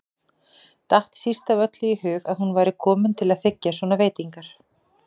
Datt síst af öllu í hug að hún væri komin til að þiggja svona veitingar.